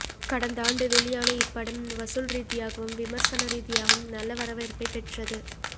கடந்தாண்டு வெளியான இப்படம் வசூல் ரீதியாகவும் விமர்சன ரீதியாகவும் நல்ல வரவேற்பைப் பெற்றது